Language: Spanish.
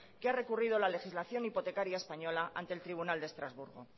que ha recurrido la legislación hipotecaria española ante el tribunal de estrasburgo